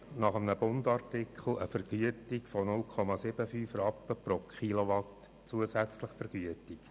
Nach einem «Bund»-Artikel hat sie eine Vergütung von 0,75 Rappen pro Kilowatt zusätzlich vergütet.